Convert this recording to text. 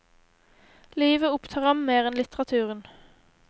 Livet opptar ham mer enn litteraturen.